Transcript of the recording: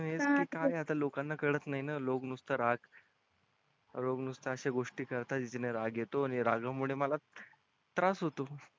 येत आहे. आता लोकांना कळत नाही ना लोक नुसतं राग आहात. लोक नुसता अशा गोष्टी करता ज्याच्याने राग येतो आणि रागा मुळे मला त्रास होतो.